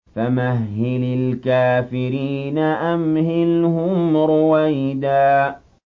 فَمَهِّلِ الْكَافِرِينَ أَمْهِلْهُمْ رُوَيْدًا